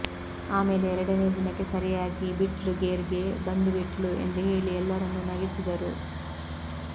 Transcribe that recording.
ಆಮೇಲೆ ಎರಡನೇ ದಿನಕ್ಕೆ ಸರಿಯಾಗಿ ಬಿಟ್ಲು ಗೇರ್ಗೆ ಬಂದು ಬಿಟ್ಲು ಎಂದು ಹೇಳಿ ಎಲ್ಲರನ್ಣೂ ನಗಿಸಿದರು